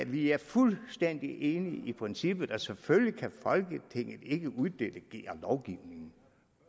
vi er fuldstændig enige i princippet selvfølgelig kan folketinget ikke uddelegere lovgivningen